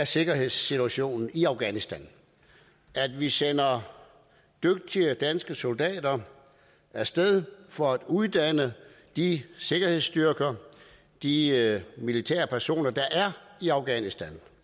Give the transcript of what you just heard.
sikkerhedssituation i afghanistan vi sender dygtige danske soldater af sted for at uddanne de sikkerhedsstyrker de militærpersoner der er i afghanistan